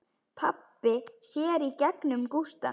Pabbi sér í gegnum Gústa.